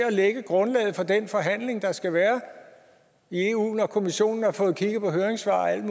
at lægge grundlaget for den forhandling der skal være i eu når kommissionen har fået kigget på høringssvar og alt